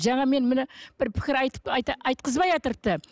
жаңа мен міне бір пікір айтып айтықызбайатыр